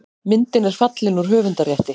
Myndin er fallin úr höfundarrétti.